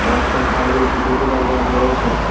রাস্তার সাইডে একটি টোটো দাঁড় করানো রয়েছে।